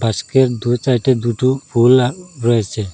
আজকে দু সাইডে দুটো ফুলা রয়েসে।